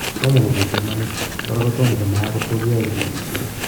toma kopiit imanit, kora kotoma konaag kot kogiyae chigilisheet